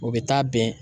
O bɛ taa bɛn